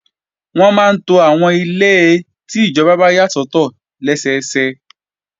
Wọ́n máa ń to àwọn ilé tó wà lágbègbè ti ìjọba yà sọ́tọ̀ dáadáa.